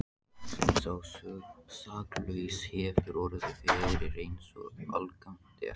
sem sá saklausi hefur orðið fyrir, eins og algengt er.